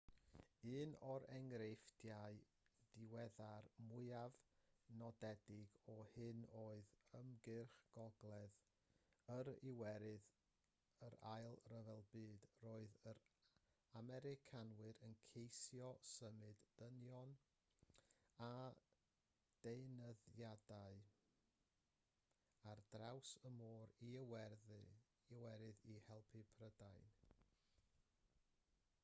un o'r enghreifftiau diweddar mwyaf nodedig o hyn oedd ymgyrch gogledd yr iwerydd yr ail ryfel byd roedd yr americanwyr yn ceisio symud dynion a deunyddiau ar draws môr yr iwerydd i helpu prydain